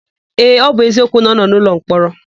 Ee, ọ bụ eziokwu na ọ nọ n'ụlọmkpọrọ.